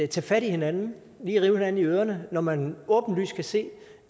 tage fat i hinanden lige rive hinanden i ørerne når man åbenlyst kan se